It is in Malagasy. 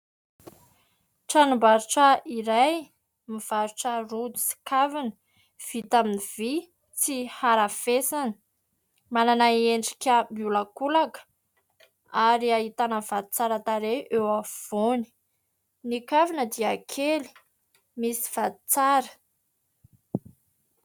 Tranom-barotra iray, mivarotra rojo sy kavina. Vita amin'ny vy tsy harafesina. Manana endrika miolakolaka ary ahitana vato tsara tarehy eo afovoany, ny kavina dia kely misy vato tsara.